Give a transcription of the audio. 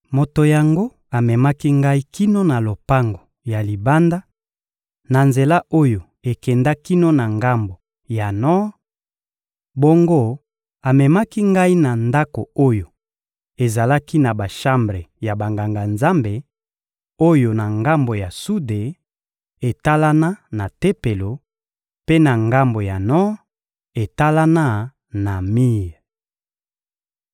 Moto yango amemaki ngai kino na lopango ya libanda, na nzela oyo ekenda kino na ngambo ya nor; bongo amemaki ngai na ndako oyo ezalaki na bashambre ya Banganga-Nzambe, oyo na ngambo ya sude, etalana na Tempelo; mpe na ngambo ya nor, etalana na mir.